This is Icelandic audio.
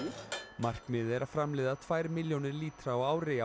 markmiðið er að framleiða tvær milljónir lítra á ári á